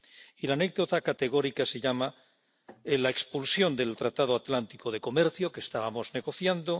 Y la anécdota categórica se llama la expulsión del Tratado Atlántico de Comercio, que estábamos negociando